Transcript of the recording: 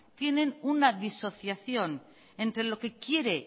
tienen una disociación entre lo que quiere